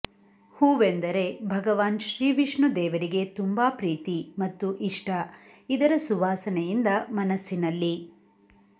ಹೂವೆಂದರೆ ಭಗವಾನ್ ಶ್ರೀ ವಿಷ್ಣು ದೇವರಿಗೆ ತುಂಬಾ ಪ್ರೀತಿ ಮತ್ತು ಇಷ್ಟ ಇದರ ಸುವಾಸನೆಯಿಂದ ಮನಸ್ಸಿನಲ್ಲಿ